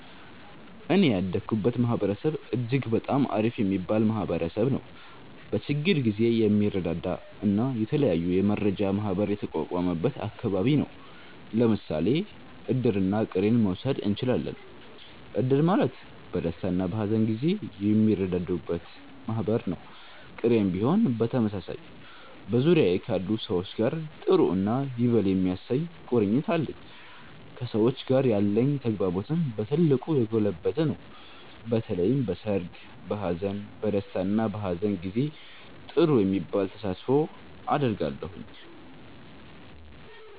እኔ ያደኩበት ማህበረሰብ እጅግ በጣም አሪፍ የሚባል ማህበረሰብ ነዉ። በችግር ጊዜ የሚረዳዳ እና የተለያዩ የመረዳጃ ማህበር የተቋቋመበት አከባቢ ነው። ለምሳሌ እድርና ቅሬን መዉሰድ እችላለን። እድር ማለት በደስታና በሀዘን ጊዜ የሚረዳዱበት ማህበር ነው፤ ቅሬም ቢሆን በተመሳሳይ። በዙሪያዬ ካሉ ሰዎች ጋር ጥሩ እና ይበል የሚያሰኝ ቁርኝት አለኝ። ከሰዎች ጋር ያለኝ ተግባቦትም በ ትልቁ የጎለበተ ነው። በተለይም በሰርግ፣ በሃዘን፣ በ ደስታ እና በሃዘን ጊዜ ጥሩ የሚባል ተሳትፎ አደርጋለሁ።